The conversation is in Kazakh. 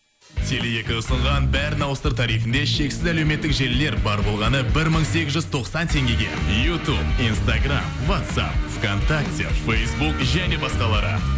теле екі ұсынған бәрін ауыстыр тарифінде шексіз әлеуметтік желілер бар болғаны бір мың сегіз жүз тоқсан теңгеге ютуб инстаграм ватсап в контакте фейсбук және басқалары